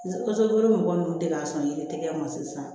mɔgɔ ninnu deg'a sɔrɔ yiritigɛ ma sisan